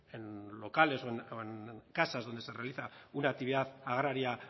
en locales o en casa donde se realiza una actividad agraria